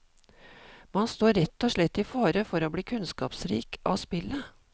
Man står rett og slett i fare for å bli kunnskapsrik av spillet.